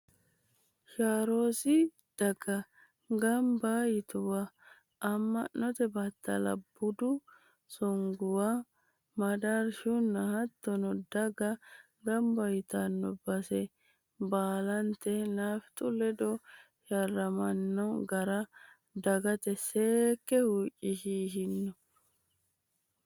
Sharrosi daga gamba yitannowa amma’note battallara, budu songowa, madaarshunna hattono daga gamba yitanno base baalate “nafixanyu” ledo sharrammanni gara dagate seekke huwachishino.